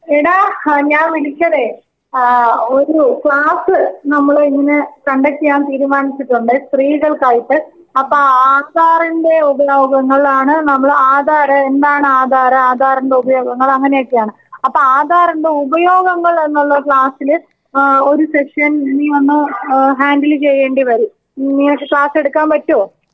എടാ ഞാൻ വിളിച്ചത് അഹ് ഒരു ക്ലാസ് നമ്മൾ ഇന്ന് കണ്ടക്റ്റ്യ്യാൻ തീരുമാനിച്ചിട്ടുണ്ട്. സ്ത്രീകൾക്കായിട്ട് അപ്പോ ആധാറിന്റെ ഉപയോഗങ്ങളാണ് . നമ്മൾ ആധാർ എന്താണ് ആധാർ? ആധാറിന്റെ ഉപയോഗങ്ങൾ അങ്ങനെയൊക്കെയാണ്. അപ്പോ ആധാറിന്റെ ഉപയോഗങ്ങൾ എന്നുള്ള ക്ലാസിൽ ഏഹ് ഒരു സെക്ഷന്‍ നീ വന്ന് ഏഹ് ഹാൻഡിൽ ചെയ്യേണ്ടിവരും.നിങ്ങക്ക് ക്ലാസ്സ് എടുക്കാൻ പറ്റോ?.